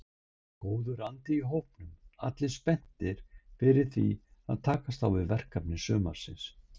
Góður andi í hópnum allir spenntir fyrir því að takast á við verkefni sumarsins.